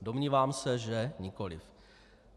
Domnívám se, že nikoliv.